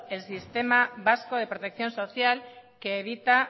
el sistema vasco de protección social que evita